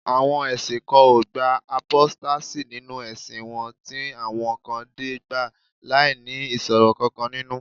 àwọn ẹsìn kan o gba apostasy ninu ẹsìn won ti awọn kan de gba lai ni iṣoro kankan ninu